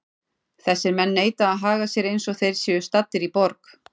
Þessir menn neita að haga sér eins og þeir séu staddir í borg.